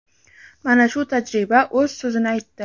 Mana shu tajriba o‘z so‘zini aytdi.